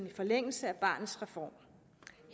i forlængelse af barnets reform